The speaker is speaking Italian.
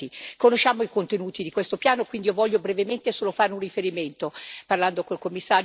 Conosciamo i contenuti di questo piano, quindi io voglio brevemente solo fare un riferimento, parlando con il commissario e con i colleghi.